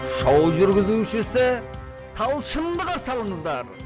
шоу жүргізушісі талшынды қарсы алыңыздар